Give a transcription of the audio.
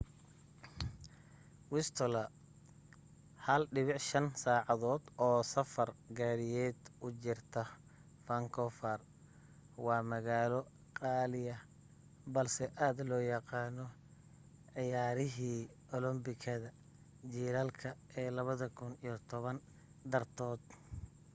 whistler 1.5 saacadood oo safar gaadhiyeeda u jirta faankuufar waa magaalo qaaliya balse aad loo yaqaano ciyaarihii olambikada jilaalka ee 2010 dartood